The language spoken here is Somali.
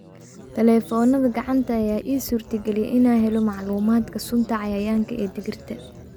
Taleefannada gacanta ayaa ii suurtageliyay inaan helo macluumaadka sunta cayayaanka ee digirta.